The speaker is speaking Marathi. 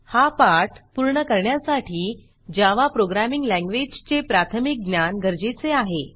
हा पाठ पूर्ण करण्यासाठी जावा प्रोग्रॅमिंग लँग्वेजचे प्राथमिक ज्ञान गरजेचे आहे